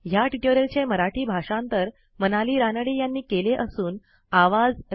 ह्या ट्युटोरियलचे मराठी भाषांतर मनाली रानडे यांनी केले असून आवाज